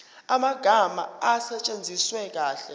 amagama asetshenziswe kahle